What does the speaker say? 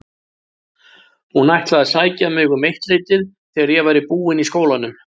Hún ætlaði að sækja mig um eittleytið þegar ég væri búin í skólanum.